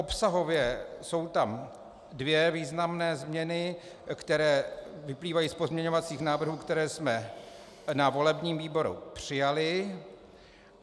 Obsahově jsou tam dvě významné změny, které vyplývají z pozměňovacích návrhů, které jsme na volebním výboru přijali.